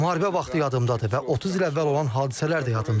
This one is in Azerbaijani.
Müharibə vaxtı yadımdadır və 30 il əvvəl olan hadisələr də yadımdadır.